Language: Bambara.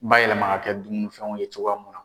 Bayɛlɛma ka kɛ dumunifɛnw ye cogoya mun na.